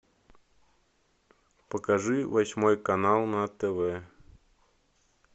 покажи восьмой канал на тв